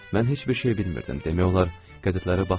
Mən heç bir şey bilmirdim, demək olar qəzetləri baxmırdım.